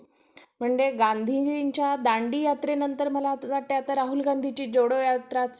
जर कोणत्या विषयाचे पुस्तक घ्यायचे असल्यास आम्ही तिथून लगेच घेत होतो तसेच आमच्या college मध्ये extra classes देखील होत होते बारावीच्या या वर्ष मध्ये आम्ही अभ्यास करत